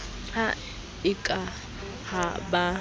ha e ka ha ba